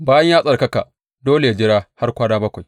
Bayan ya tsarkaka, dole yă jira har kwana bakwai.